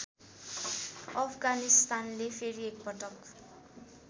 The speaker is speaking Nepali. अफगानिस्तानले फेरि एकपटक